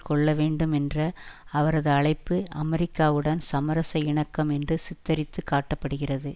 கொள்ள வேண்டும் என்ற அவரது அழைப்பு அமெரிக்காவுடன் சமரச இணக்கம் என்று சித்தரித்து காட்ட படுகிறது